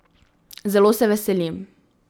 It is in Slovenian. Zelo se veselim.